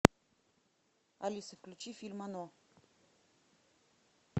алиса включи фильм оно